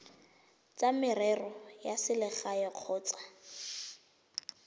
tsa merero ya selegae kgotsa